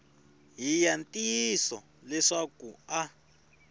hi ya ntiyiso leswaku a